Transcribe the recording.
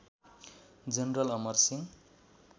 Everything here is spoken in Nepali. जनरल अमरसिंह